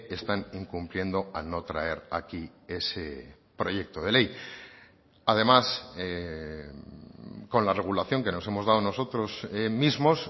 están incumpliendo al no traer aquí ese proyecto de ley además con la regulación que nos hemos dado nosotros mismos